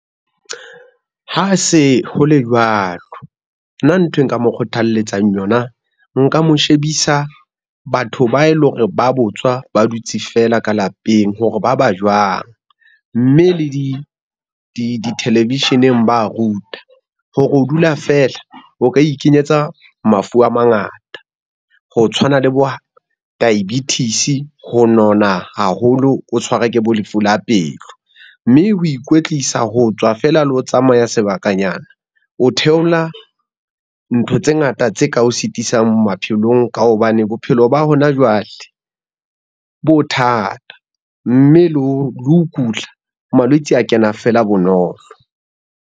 Ha se ho le jwalo, nna nthwe nka mo kgothaletsang yona nka mo shebisa batho ba eleng hore ba botswa ba dutse feela ka lapeng hore ba ba jwang, mme le di-television-eng ba ruta, hore ho dula fela, o ka ikenyetsa mafu a mangata. Ho tshwana le bo diabetes, ho nona haholo, o tshwarwe ke bo lefu la pelo, mme ho ikwetlisa ho tswa fela le ho tsamaya sebakanyana, o theola ntho tse ngata tse ka o sitisang maphelong ka hobane bophelo ba hona jwale, bo thata mme le ho kula malwetse a kena fela bonolo.